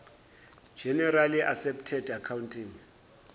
generally accepted accounting